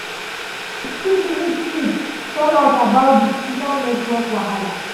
news quick news quick tell us about di small network wahala.